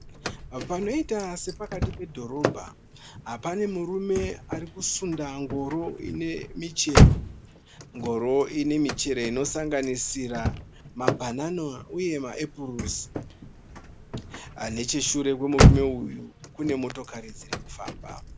Panoita sepakati pedhorobha. Pane murume arikusunda ngoro ine michero. Ngoro inemichero inosanganisira mabanana uye maepurosi. Nechesure kwemurume uyu kune motokari dzirikufamba.